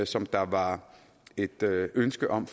som der var et ønske om